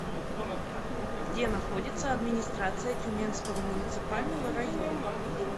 где находится администрация тюменского муниципального района